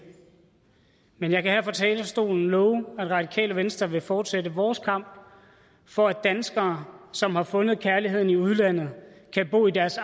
men jeg kan her fra talerstolen love at radikale venstre vil fortsætte vores kamp for at danskere som har fundet kærligheden i udlandet kan bo i deres